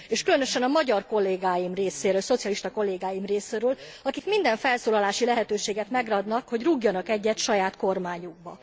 És különösen a magyar kollégáim részéről, szocialista kollégáim részéről, akik minden felszólalási lehetőséget megragadnak, hogy rúgjanak egyet saját kormányukba.